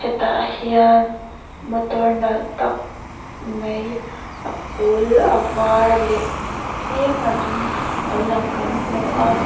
hetah hian motor nalh tak mai a pâwl a vâr leh tlem a dum lo lang kan hmu a.